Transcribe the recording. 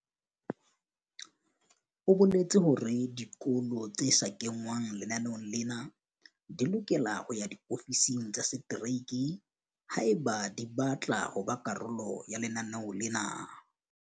O boletse hore dikolo tse sa kengwang lenaneong lena di lokela ho ya diofising tsa setereke haeba di batla ho ba karolo ya lenaneo lena.